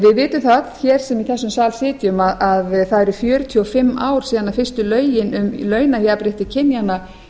vitum það öll sem í þessum sal sitjum að það eru fjörutíu og fimm ár síðan fyrstu lögin um launajafnrétti kynjanna